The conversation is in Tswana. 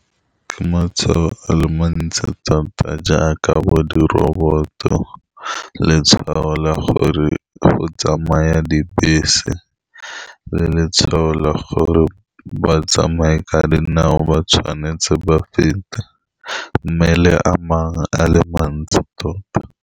Ke matshwao a le mantsi thata, jaaka bo di-robot-o, letshwao la gore go tsamaya dibese, le letshwao la gore batsamaya ka dinao ba tshwanetse ba fete, mme le a mangwe a le mantsi tota.